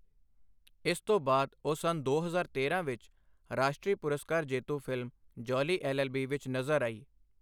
ਇਸ ਤੋਂ ਬਾਅਦ ਉਹ ਸੰਨ ਦੋ ਹਜ਼ਾਰ ਤੇਰਾਂ ਵਿੱਚ ਰਾਸ਼ਟਰੀ ਪੁਰਸਕਾਰ ਜੇਤੂ, ਫ਼ਿਲਮ 'ਜੌਲੀ ਐੱਲ.ਐੱਲ.ਬੀ.' ਵਿੱਚ ਨਜ਼ਰ ਆਈ।